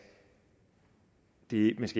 helt års